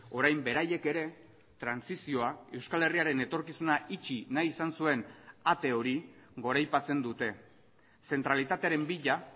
orain beraiek ere trantsizioa euskal herriaren etorkizuna itxi nahi izan zuen ate hori goraipatzen dute zentralitatearen bila